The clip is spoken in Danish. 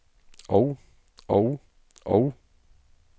og og og